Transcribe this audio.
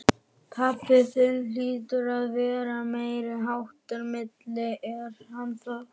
Pabbi þinn hlýtur að vera meiriháttar milli, er hann það?